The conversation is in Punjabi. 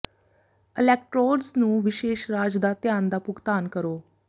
ਅਲੈਕਟ੍ਰੋਡਜ਼ ਨੂੰ ਵਿਸ਼ੇਸ਼ ਰਾਜ ਦਾ ਧਿਆਨ ਦਾ ਭੁਗਤਾਨ ਕਰੋ